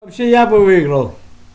вообще я бы выиграл